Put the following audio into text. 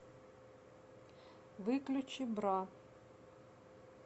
выключи бра